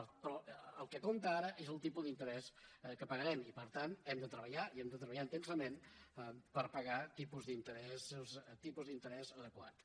però el que compta ara és el tipus d’interès que pagarem i per tant hem de treballar i hem de treballar intensament per pagar tipus d’interès adequats